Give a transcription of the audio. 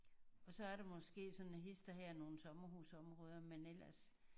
Og så er der måske sådan hist og her nogen sommerhusområder men ellers